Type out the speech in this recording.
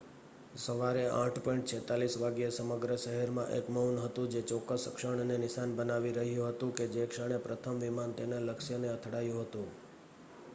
સવારે ૮.૪૬ વાગ્યે સમગ્ર શહેરમાં એક મૌન હતું જે ચોક્કસ ક્ષણને નિશાન બનાવી રહ્યું હતું કે જે ક્ષણે પ્રથમ વિમાન તેના લક્ષ્ય ને અથડાયું હતું